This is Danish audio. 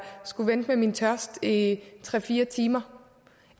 skulle vente med min tørst i tre fire timer